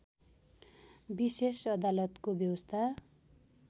विशेष अदालतको व्यवस्था